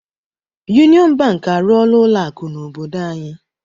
Yuniọn Bank arụọla ụlọ akụ n'obodo anyị.